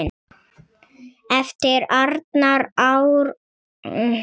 eftir Arnar Árnason